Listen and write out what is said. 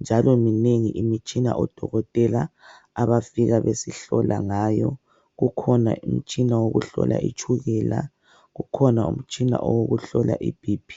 njalo minengi imitshina odokotela abafika basihlola ngayo kukhona umtshina wokuhlola itshukela kukhona umtshina wokuhlola ibp.